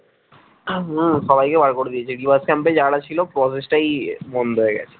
হম সবাইকে বার করে দিয়েছি rework camp এ যারা ছিলো process টাই বন্ধ হয়ে গেছে